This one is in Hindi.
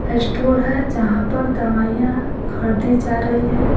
स्टोर है जहाँ पर दवाइयां खरीदी जा रही है।